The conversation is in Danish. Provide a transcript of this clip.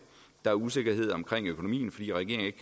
der er usikkerhed om økonomien fordi regeringen ikke